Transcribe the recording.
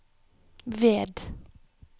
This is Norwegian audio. ved